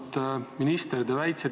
Auväärt minister!